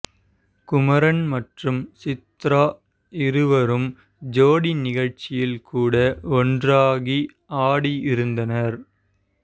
குமரன் மற்றும் சித்ரா இருவரும் ஜோடி நிகழ்ச்சியில் கூட ஒன்றாகி ஆடி இருந்தனர்